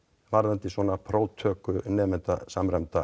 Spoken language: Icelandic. varðandi svona próftöku nemenda samræmdra